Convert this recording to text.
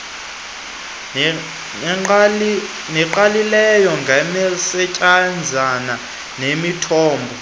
nengqalileyo ngemisetyenzana nemithombo